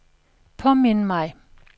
påmind mig